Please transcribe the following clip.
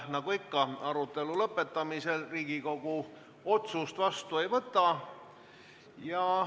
Nagu ikka, arutelu lõpetamisel Riigikogu otsust vastu ei võta.